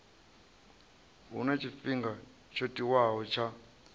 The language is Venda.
huna tshifhinga tsho tiwaho tsha